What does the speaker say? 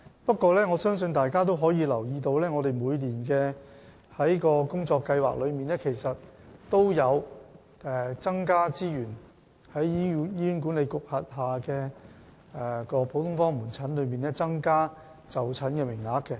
不過，我相信大家也留意到，我們在每年的工作計劃中，其實也有就醫管局轄下的各個普通科門診增加資源及增加就診名額。